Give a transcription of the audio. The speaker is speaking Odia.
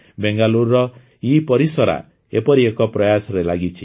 ବେଙ୍ଗାଲୁରୁର ଇପରିସରା ଏପରି ଏକ ପ୍ରୟାସରେ ଲାଗିଛି